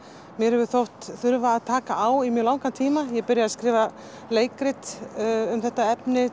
mér hefur þótt þurfa að taka á í mjög langan tíma ég byrjaði að skrifa leikrit um þetta efni